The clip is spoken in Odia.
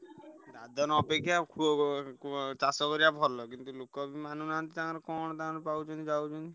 ଦାଦନ ଅପେକ୍ଷା ଖୁଅ ଚାଷ କରିବା ଭଲ କିନ୍ତୁ ଲୋକ ବି ମାନୁନାହାନ୍ତି ତାଙ୍କର କଣ ତାଙ୍କର ପାଉଛନ୍ତି ଯାଉଛନ୍ତି।